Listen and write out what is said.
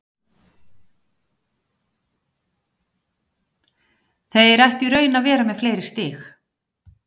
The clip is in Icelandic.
Þeir ættu í raun að vera með fleiri stig.